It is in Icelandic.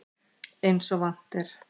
Eins og vant er.